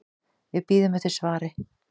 Við bíðum eftir svari.